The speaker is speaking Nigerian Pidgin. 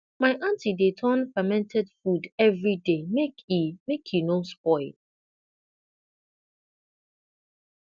my aunty dey turn fermented food every day make e make e no spoil